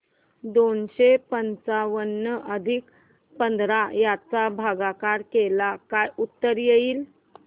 दोनशे पंच्याण्णव आणि पंधरा चा भागाकार केल्यास काय उत्तर येईल